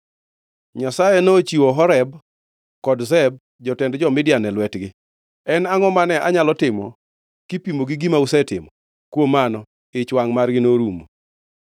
Nyasaye nochiwo Oreb kod Zeb, jotend jo-Midian, e lwetgi. En angʼo mane anyalo timo kipimo gi gima usetimo?” Kuom mano, ich wangʼ margi norumo.